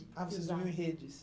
Ah, vocês dormiam em redes.